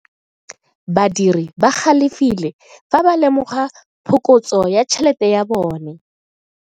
Badiri ba galefile fa ba lemoga phokotso ya tšhelete ya bone.